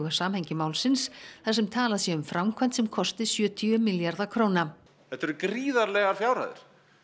samhengi málsins þar sem talað sé um framkvæmd sem kosti sjötíu milljarða þetta eru gríðarlegar fjárhæðir